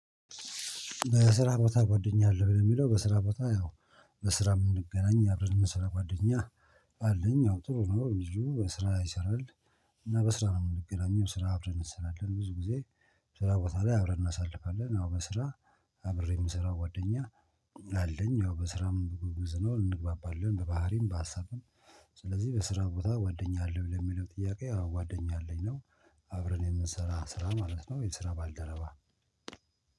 በስራ ቦታ ጓደኛ አለህ በሚለው በስራ ቦታ ያው በስራ የምንገናኝ አብረን የምንሰራ ጓደኛ አለኝ ያው ጥሩ ነው ልጁ በስራ ላይ ይሰራል። እና በስራ ነው የምንገናኘው ስራ አብረን እንሰራለን ብዙ ጊዜ። ስራ ቦታ ላይ አብረን እናሳልፋለን። አዎ በስራ አብሬ የምሰራው ጓደኛ አለኝ። ያው በስራም ጎበዝ ነው እንግባባለን በባህሪም በሀሳብም። ስለዚህ በስራ ቦታ ጓደኛ አለህ ለሚለው ጥያቄ ያው ጓደኛ አለኝ ነው። አብረን የምንሰራ ስራ ማለት ነው የስራ ባልደረባ